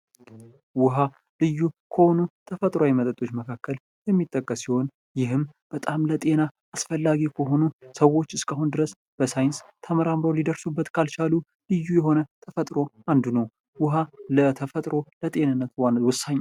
ዉሃ ልዩ ከሆኑ ተፈጥሯዊ መጠጦች መካከል የሚጠቀስ ሲሆን ይህም በጣም ለጤና አስፈላጊ ከሆኑ ሰዎች እስካሁን በሳይንስ ተመራምረው ሊደርሱበት ካልቻሉ ልዩ ከሆነው ተፈጥሮ አንዱ ነው። ዉሃ ለተፈጥሮ ባለው ወሳኝ